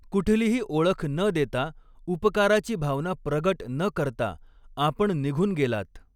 कुठलीही ओळख न देता उपकाराची भावना प्रगट न करता आपण निघून गेलात.